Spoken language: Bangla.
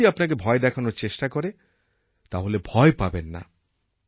কেউ যদি আপনাকে ভয় দেখানোর চেষ্টা করে তাহলে ভয় পাবেন না